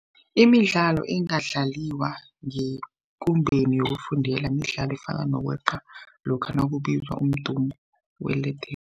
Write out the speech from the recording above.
Imidlalo engadlaliwa ngekumbeni yokufundela midlalo efana nokweqa lokha nakubizwa umdumo welede